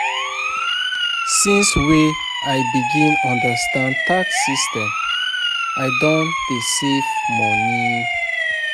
Since wey I begin understand tax system, I don dey save moni.